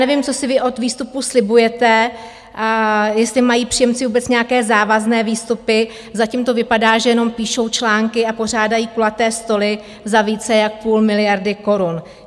Nevím, co si vy od výstupů slibujete, jestli mají příjemci vůbec nějaké závazné výstupy, zatím to vypadá, že jenom píšou články a pořádají kulaté stoly za více jak půl miliardy korun.